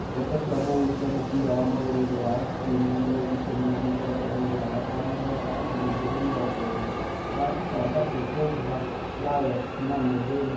Ndeto cia mũhuhu cia mũbira wa magũrũ Rũraya kiumia mweri ikũmi na mũgwanja mweri wa gatano mwaka wa ngiri igĩrĩ mĩrongo ĩrĩ athaki ta Mbappe, Pogba, Rabiot, Mane, Dennis, Bogarde